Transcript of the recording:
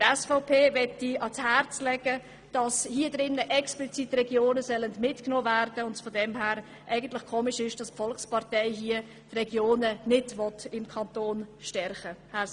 Der SVP lege ich ans Herz, dass die Regionen im Kanton mit dieser Motion explizit mitgenommen werden sollen und es daher seltsam ist, wenn die Volkspartei die Regionen damit nicht stärken will.